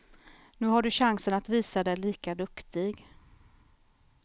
Nu har du chansen att visa dig lika duktig.